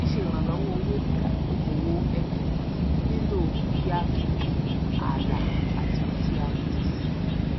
síse ìrànlówó owó fún okòwò ẹbí nílò kí á fi alà àtì ohun tí a retí síi